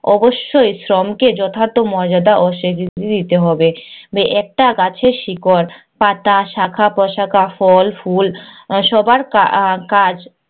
অবশ্যই শ্রমকে যথার্থ মর্যাদা ও স্বীকৃতি দিতে হবে। একটা গাছের শিকড়, পাতা, শাখা, প্রশাখা, ফল, ফুল সবার কাজ